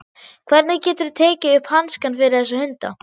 Hvernig geturðu tekið upp hanskann fyrir þessa hunda?